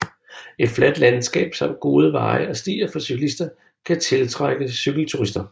Et fladt landskab samt gode veje og stier for cyklister kan tiltrække cykelturister